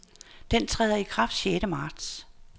Den træder i kraft sjette marts.